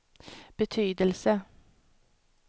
betydelse